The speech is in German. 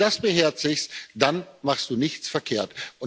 Und wenn du das beherzigst, dann machst du nichts verkehrt.